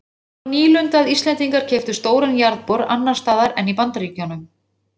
Það var nýlunda að Íslendingar keyptu stóran jarðbor annars staðar en í Bandaríkjunum.